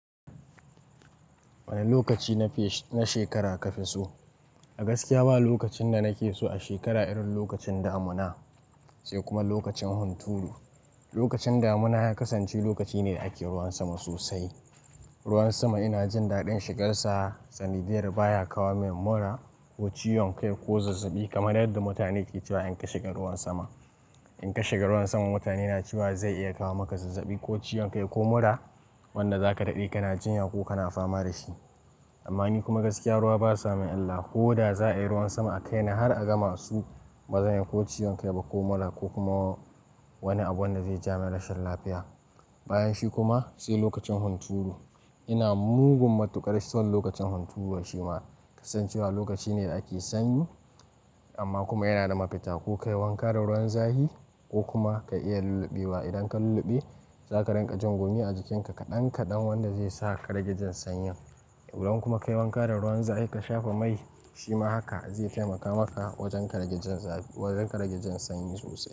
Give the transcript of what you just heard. Wane lokaci na shekara ka fi so? A gaskiya ba lokacin da na ke so a shekara irin lokacin damuna sai kuma lokacin hunturu. Lokacin damuna ya kasance lokaci ne da ake ruwan sama sosai. Ruwan sama ina jin daɗin shigarsa, sanidiyar baya kawo min mura ko ciwon kai ko zazzabi kamar yadda mutane ke cewa in ka shiga ruwan sama. In ka shiga ruwan sama mutane na cewa zai iya kawo maka zazzabi ko ciwon kai ko mura wanda za ka daɗe ka na jinya ko ka na fama da shi. Amma ni kuma gaskiya ruwa ba sa mai illa ko da za a yi ruwan sama a kaina har a gama su ba zan yi ko ciwon kai ba ko mura ko kuma wani abu wanda zai jamin rashin lafiya. Bayan shi kuma sai lokacin hunturu ina mugun matuƙar son lokacin hunturu shima kasancewa lokaci ne da ake sanyi amma kuma yana da mafita. Ko ka yi wanka da ruwan zafi ko kuma ka iya lulluɓewa. Idan ka lulluɓe za ka rinƙa jin gumi a jikinka kaɗan kaɗan wanda zai sa ka rage jin sanyin. Idan kuma ka yi wanka da ruwan zafi ka shafa mai shima haka zai taimaka maka wajen karage jin zafi ka rage jan sanyi sosai.